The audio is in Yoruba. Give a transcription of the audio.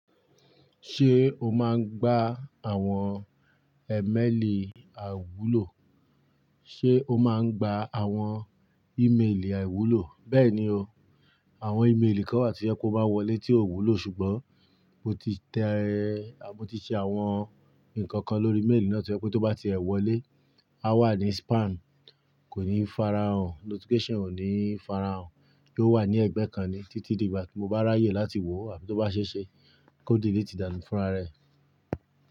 Ṣé o máa ń gba àwọn ẹ́mẹ́ẹ̀lì àwúlò? Ṣé o máa ń gba àwọn ímeèlì àwúlò? Bẹ́ẹ̀ni o, àwọn ímeèlì kan wà tí o bá wọlé tí ò wúlò, ṣùgbọ́n mo ti tẹ́ ẹ, à mọ́ ti ṣe àwọn nǹkan kan lórí méèlì náà tí ẹ kú tó bá ti ẹ̀ wọlé, á wà ní spam, kò ní farahàn, notification ò ní farahàn kí ó wà ní ẹgbẹ́ kan ni títí di ìgbà tí mo bá ráyè láti wò ó àbí tó bá ṣeeṣe kó delete dànù fúnra rẹ̀.